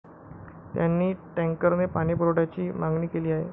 त्यांनी टँकरने पाणीपुरवठ्याची मागणी केली आहे.